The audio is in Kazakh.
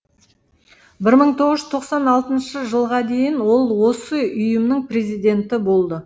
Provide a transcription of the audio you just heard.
бір мың тоғыз жүз тоқсан алтыншы жылға дейін ол осы ұйымның президенті болды